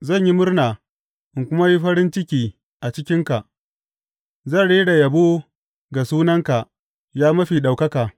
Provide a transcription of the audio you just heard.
Zan yi murna in kuma yi farin ciki a cikinka; zan rera yabo ga sunanka, ya Mafi Ɗaukaka.